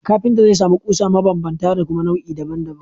Kafinta zai sami ƙusa mabanbanta da kuma nau’i daban daban